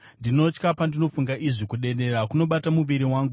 Ndinotya, pandinofunga izvi; kudedera kunobata muviri wangu.